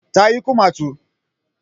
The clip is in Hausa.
Ta yi kumatu